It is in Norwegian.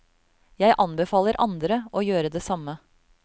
Jeg anbefaler andre å gjøre det samme.